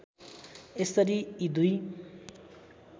यसरी यी दुई